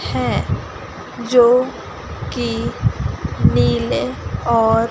है जो की नीले और--